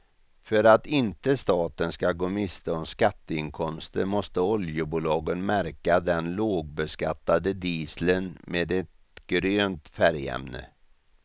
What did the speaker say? För att inte staten ska gå miste om skatteinkomster måste oljebolagen märka den lågbeskattade dieseln med ett grönt färgämne.